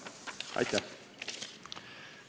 Aitäh!